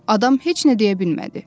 Adam heç nə deyə bilmədi.